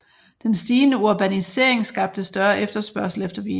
Den stigende urbanisering skabte større efterspørgsel efter vin